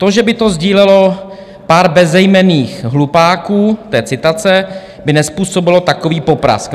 To, že by to sdílelo pár bezejmenných hlupáků" - to je citace - "by nezpůsobilo takový poprask."